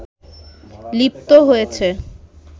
লিপ্ত হয়েছে